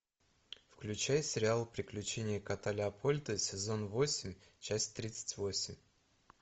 включай сериал приключения кота леопольда сезон восемь часть тридцать восемь